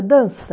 dança.